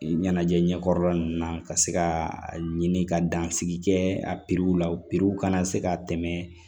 Ɲɛnajɛ ɲɛkɔrɔla ninnu na ka se ka a ɲini ka dan sigi kɛ a la kana se ka tɛmɛ